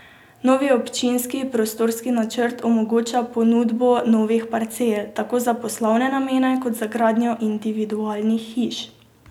Novi občinski prostorski načrt omogoča ponudbo novih parcel, tako za poslovne namene, kot za gradnjo individualnih hiš.